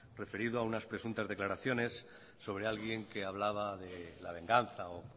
referido a unas presuntas declaraciones sobre alguien que hablaba de la venganza o